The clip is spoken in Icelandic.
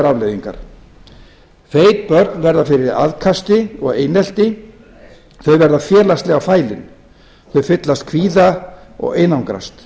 afleiðingar feit börn verða fyrir aðkasti og einelti þau verða félagslega fælin þau fyllast kvíða og einangrast